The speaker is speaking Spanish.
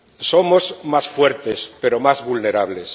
Somos más fuertes pero más vulnerables.